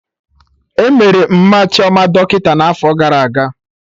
Emere Mma Chioma dọkịta n'afọ gara aga